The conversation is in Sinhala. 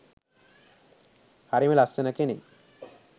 හරිම ලස්සන කෙනෙක්